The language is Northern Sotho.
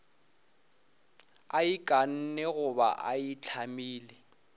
a ikanne goba a itlamile